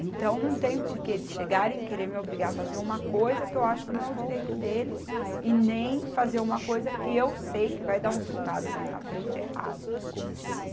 Então, não tem por que eles chegarem e querer me obrigar a fazer uma coisa que eu acho que não é o direito deles e nem fazer uma coisa que eu sei que vai dar um resultado mais na frente errado.